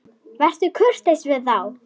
Vertu kurteis við þá!